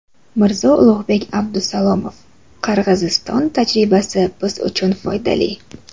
Mirzo Ulug‘bek Abdusalomov: Qirg‘iziston tajribasi biz uchun foydali.